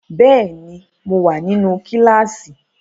Bẹ́ẹ̀ ni, mo wà nínú kíláásì.